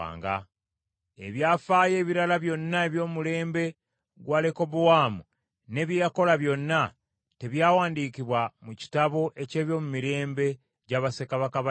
Ebyafaayo ebirala byonna eby’omulembe gwa Lekobowaamu, ne bye yakola byonna, tebyawandiikibwa mu kitabo eky’ebyomumirembe gya bassekabaka ba Yuda?